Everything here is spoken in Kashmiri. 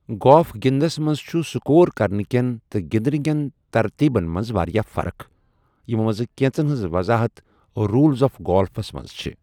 گولف گِنٛدنَس منٛز چھُ سکور کرنِہٕ كین تہٕ گِنٛدنِہٕ کین ترتیبن منٛز واریٛاہ فرق، یِمَو منٛز کینٛژن ہِنٛز وضاحت رولز آف گالفَس منٛز چھِ ۔